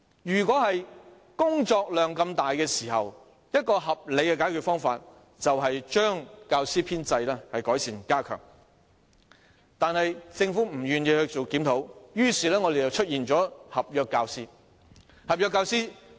當工作量這麼大時，合理的解決方法是改善並加強教師的編制，但政府不願意進行檢討，於是教育界出現了合約教師。